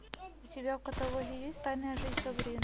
у тебя в каталоге есть тайная жизнь сабрины